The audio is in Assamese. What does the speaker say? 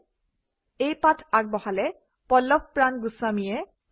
এই স্ক্ৰীপ্তটো আগবঢ়ালে পল্লৱপ্ৰাণ গোস্বামীয়ে